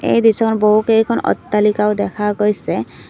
এই দৃশ্যখনত বহুকেইখন অট্টালিকাও দেখা গৈছে।